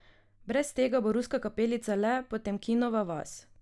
Brez tega bo Ruska kapelica le Potemkinova vas.